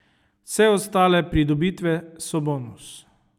Vse ostale pridobitve so bonus ...